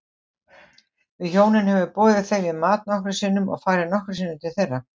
Við hjónin höfum boðið þeim í mat nokkrum sinnum og farið nokkrum sinnum til þeirra.